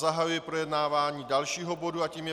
Zahajuji projednávání dalšího bodu a tím je